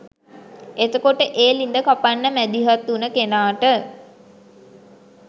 එතකොට ඒ ළිඳ කපන්න මැදිහත් වුණ කෙනාට